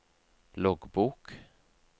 loggbok